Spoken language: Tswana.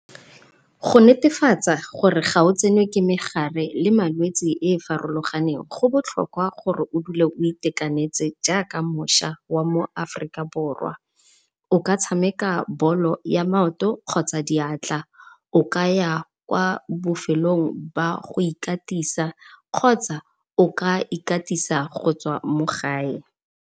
Go netefatsa gore ga o tsenwe ke megare le malwetsi e e farologaneng go botlhokwa gore o dule o itekanetse jaaka mošwa wa mo Aforika Borwa, o ka tshameka bolo ya maoto kgotsa diatla. O ka ya kwa bofelong jwa go ikatisa kgotsa o ka ikatisa go tswa mo gae.